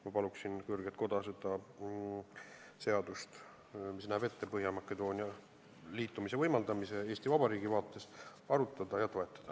Ma palun kõrget koda seda seadust, mis näeb ette võimaldada Põhja-Makedoonial liituda, Eesti Vabariigi vaates arutada ja toetada.